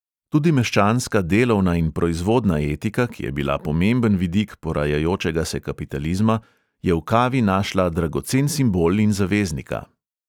Tudi meščanska delovna in proizvodna etika, ki je bila pomemben vidik porajajočega se kapitalizma, je v kavi našla dragocen simbol in zaveznika.